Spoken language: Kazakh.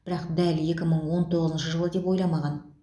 бірақ дәл екі мың он тоғызыншы жылы деп ойламаған